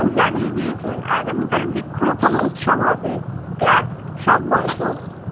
হম জানিয়ে দিয়েছেন আগামী কাল বৃক্ষরোপণ উৎসব হবে class সব বন্ধ